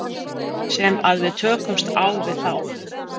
Sem að við tökumst á við þá?